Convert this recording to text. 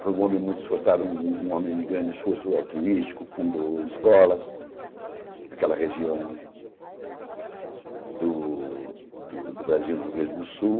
Foi um homem muito esforçado, um um homem de grande esforço altruístico, fundou escolas naquela região do do do Brasil, no Rio Grande do Sul.